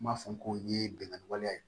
N b'a fɔ ko nin ye bingani wale ye